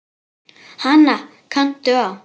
Hana kanntu á.